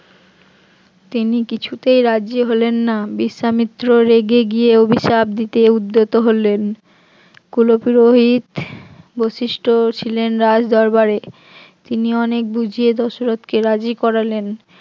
তিনি কিছুতেই রাজি হলেন না, বিশ্বামিত্র রেগে গিয়ে অভিশাপ দিতে উদ্যত হলেন কুলোপুরোহিত বৈশিষ্ট্য ছিলেন রাজ দরবারে তিনি অনেক বুঝিয়ে দশরথ কে রাজি করালেন